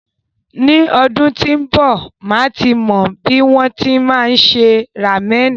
Ni ọdún tí ń b, màá ti mọ bí wọn ti máa ń se ramẹ̀nì.